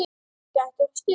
Gæti orðið stuð!